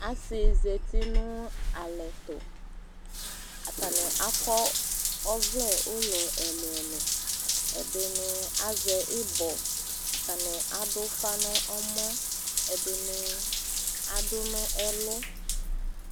Asɩnɩ zati nʋ alɛtʋ , atanɩ akɔ ɔvlɛ ʋlɔ ɛlʋɛlʋ; ɛdɩnɩ azɛ ɩbɔ, ɛdɩnɩ adʋfa n'ɛmɔ, ɛdɩnɩ adʋ nʋ ɛlʋ